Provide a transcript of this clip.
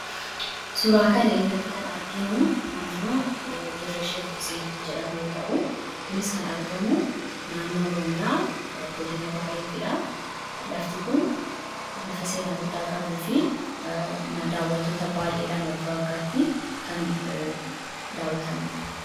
Suuraa kana irratti kan arginu naannoo Dirree Sheek Huseen jedhamu yommuu ta'u, kunis kan argamu naannoo Oromiyaa, godina Baaleetti dha. Lafti kun lafa seenaa guddaa qabuu fi daawwattoota baay'eedhaan waggaa waggaatti kan daawwatamuudha.